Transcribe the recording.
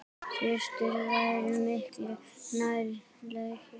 Systur væri miklu nær lagi.